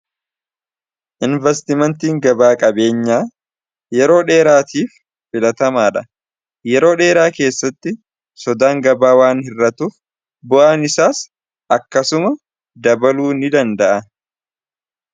investimentiin gabaa-qabeenyaa yeroo dheeraatiif filatamaa dha yeroo dheeraa keessatti sodaan gabaa waan hirratuuf bu'aan isaas akkasuma dabaluu ni danda'a